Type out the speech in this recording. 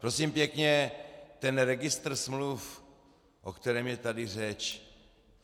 Prosím pěkně, ten registr smluv, o kterém je tady řeč.